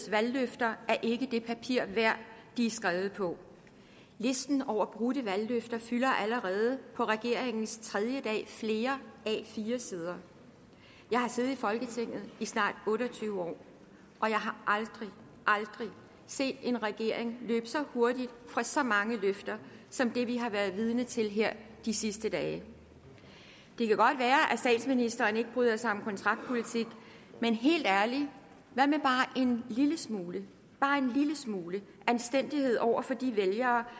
valgløfter er ikke det papir værd de er skrevet på listen over brudte valgløfter fylder allerede på regeringens tredje dag flere a4 sider jeg har siddet i folketinget i snart otte og tyve år og jeg har aldrig aldrig set en regering løbe så hurtigt fra så mange løfter som vi har været vidne til her de sidste dage det kan godt være at statsministeren ikke bryder sig om kontraktpolitik men helt ærligt hvad med bare en lille smule smule anstændighed over for de vælgere